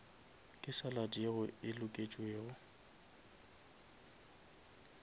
ke salad yeo e loketšego